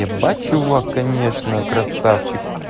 ебать чувак конечно красавчик